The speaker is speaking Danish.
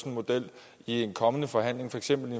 en model i en kommende forhandling for eksempel